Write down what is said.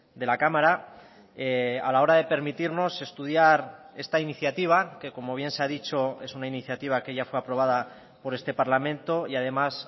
de la cámara a la hora de permitirnos estudiar esta iniciativa que como bien se ha dicho es una iniciativa que ya fue aprobada por este parlamento y además